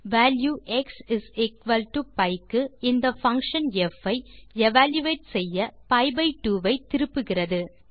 value xpi க்கு இந்த function ப் ஐ எவல்யூயேட் செய்யpi பை 2 ஐ திருப்புகிறது